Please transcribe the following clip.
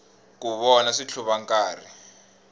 ku vona switlhuva nkarhi